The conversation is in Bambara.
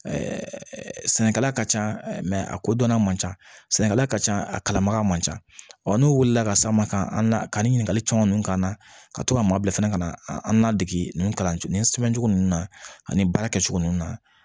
sɛnɛkɛla ka ca a kodɔnna man ca sɛnɛ ka ca a kalanbaga man ca ɔ n'u wulila ka s'an ma ka an ka nin ɲininkali caman k'an na ka to ka maa bila fɛnɛ ka na an ladege nin kalan nin sɛbɛncogo ninnu na ani nin baara kɛcogo ninnu na